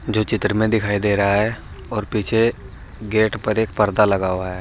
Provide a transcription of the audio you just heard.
जो चित्र में दिखाई दे रहा है और पीछे गेट पर एक पर्दा लगा हुआ है।